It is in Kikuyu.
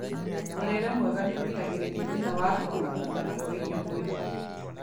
Mũrĩre mwega nĩũgiragĩrĩria thina wa kwaga kũiganana kwa irio mwĩrĩ-inĩ